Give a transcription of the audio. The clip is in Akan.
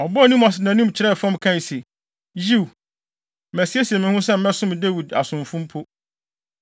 Ɔbɔɔ ne mu ase de nʼanim kyerɛɛ fam kae se, “Yiw, masiesie me ho sɛ mɛsom Dawid asomfo mpo.”